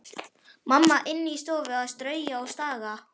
Mamma inni í stofu að strauja og staga.